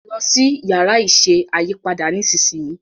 lọ si Yàrá iṣẹ́ ayípadà nísìsiyìí!